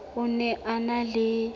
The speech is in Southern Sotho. o ne a na le